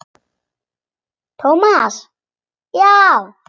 Thomas, já.